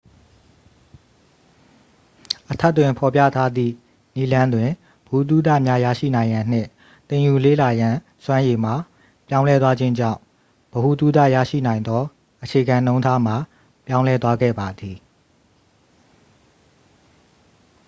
အထက်တွင်ဖော်ပြထားသည့်နည်းလမ်းတွင် ဗဟုသုတများရရှိရန်နှင့် သင်ယူလေ့လာရန်စွမ်းရည်မှာ ပြောင်းလဲသွားခြင်းကြောင့် ဗဟုသုတရရှိနိုင်သောအခြေခံနှုန်းထားမှာ ပြောင်းလဲသွားခဲ့ပါသည်